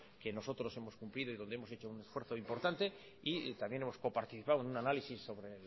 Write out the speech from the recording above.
que nosotros hemos cumplido y donde hemos hecho un esfuerzo importante y también hemos participado en un análisis sobre